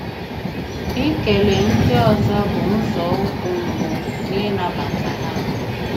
Ìkele ndị ọzọ́ bụ́ nzọụkwụ́ mbụ́ n’ị̀nabata ha.